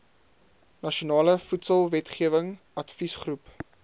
nasionale voedselwetgewing adviesgroep